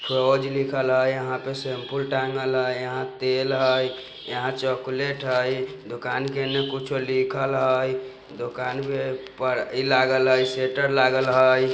रोज लिखल हय यहाँ पे सेमपुल टाँगल हय यहाँ तेल हय यहाँ चॉकलेट हई दुकान के एन्ने कुछो लिखल हय दुकान पे पर इ लागल हय सेटर लागल हय।